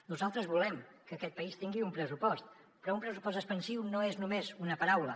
nosaltres volem que aquest país tingui un pressupost però un pressupost expansiu no és només una paraula